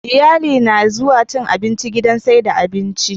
Iyali na zuwa cin abinci gidan saida abinci